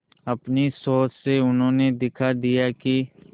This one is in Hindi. अपनी सोच से उन्होंने दिखा दिया कि